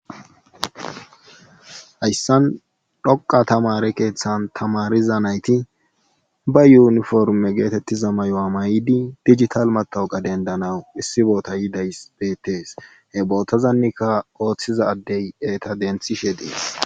Hayssan dhoqqa tamaare keethan tamaariza nayti ba yuuniformme geeteettiza mayuwa mayidi dijital mattawqa debddanaw issi boota yidays beettees he bbotazanikka oothiza addey eeta denthishe dees.